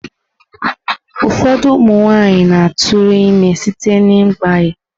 Ụfọdụ ụmụ nwanyị na-atụrụ ime site n'ịgbanye.